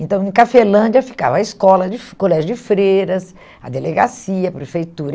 Então, em Cafelândia ficava a escola de, o colégio de freiras, a delegacia, a prefeitura.